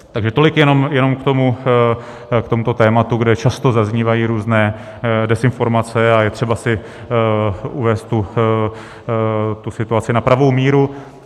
Takže tolik jenom k tomuto tématu, kde často zaznívají různé dezinformace, a je třeba si uvést tu situaci na pravou míru.